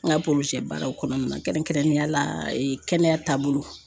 N ka baaraw kɔnɔna na kɛrɛnkɛrɛnniya la kɛnɛya taabolo.